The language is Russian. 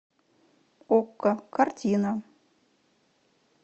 окко картина